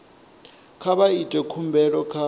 kha vha ite khumbelo kha